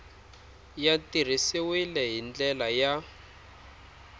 ya tirhisiwile hi ndlela ya